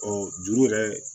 Ɔ juru yɛrɛ